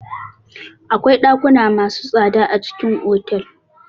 Akwai ɗakuna masu tsada a cikin otal.